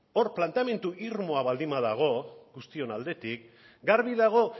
hor planteamendu irmoa baldin badago guztion aldetik garbi dago